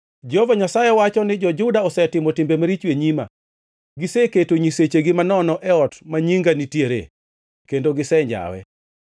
“ ‘Jehova Nyasaye wacho ni jo-Juda osetimo timbe maricho e nyima. Giseketo nyisechegi manono e ot ma Nyinga nitiere kendo gisenjawe.